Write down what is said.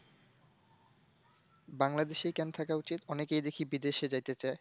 বাংলাদেশেই কেন থাকা উচিত? অনেকেই দেখি বিদেশে যাইতে চায়।